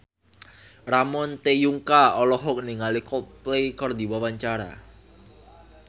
Ramon T. Yungka olohok ningali Coldplay keur diwawancara